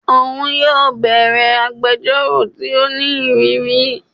Oun yóò bẹwẹ agbẹjọro ti o ni iriri